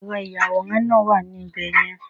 Ẹ̀rọ ìyàwòrán náà wà ní ibẹ̀ yẹn